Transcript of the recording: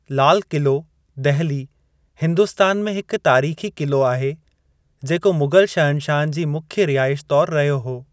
लाल क़िलो दहिली, हिन्दुस्तान में हिक तारीख़ी क़िलो आहे जेको मुग़लु शहनशाहनि जी मुख्य रिहाइश तौर रहियो हो।